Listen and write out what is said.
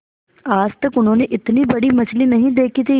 आज तक उन्होंने इतनी बड़ी मछली नहीं देखी थी